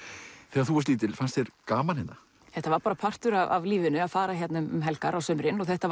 þegar þú varst lítil fannst þér gaman hérna þetta var partur af lífinu að fara hingað um helgar á sumrin þetta